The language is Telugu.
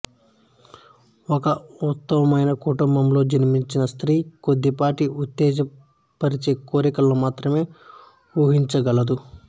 ఒక ఉన్నతమైన కుటుంబంలో జన్మించిన స్త్రీ కొద్ది పాటి ఉత్తేజ పరిచే కోరికలను మాత్రమే ఊహించగలదు